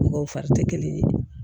Mɔgɔw fari tɛ kelen ye